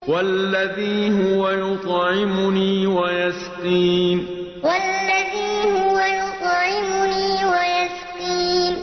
وَالَّذِي هُوَ يُطْعِمُنِي وَيَسْقِينِ وَالَّذِي هُوَ يُطْعِمُنِي وَيَسْقِينِ